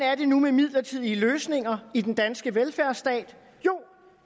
er det nu med midlertidige løsninger i den danske velfærdsstat jo